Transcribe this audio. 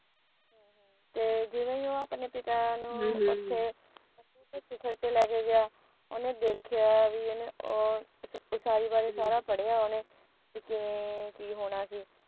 ਤੇ ਜਿਵੇ ਹੀ ਉਹ ਆਪਣੇ ਪਿਤਾ ਨੂੰ ਉੱਥੇ ਲੈ ਕੇ ਗਿਆ ਉਹਨੇ ਦੇਖਿਆਂ ਕਿ ਉਸਾਰੀ ਬਾਰੇ ਸਾਰਾ ਪੜਿਆਂ ਉਹਨੇ ਬੀ ਕਿਵੇਂ ਕਿ ਹੋਣਾ ਸੀ